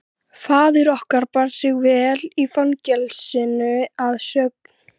Faðir okkar bar sig vel í fangelsinu að sögn.